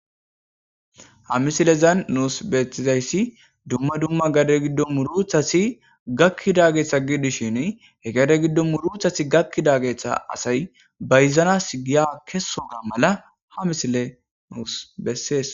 Ha misileza Gidon nusi betiddayi duma duma gadeza giddoni gakidda murutazi gakidageta assayi bayizanasi giya kesogga mala ha misileyi beses